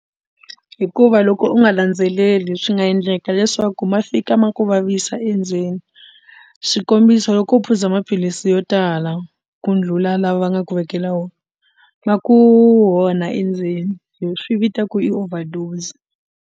Hikuva loko u nga landzeleli swi nga endleka leswaku ma fika ma ku vavisa endzeni xikombiso loko u phuza maphilisi yo tala ku ndlula lawa va nga ku vekela wona ma ku onha endzeni hi swi vita ku i overdose.